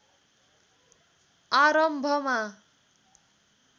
आरम्भमा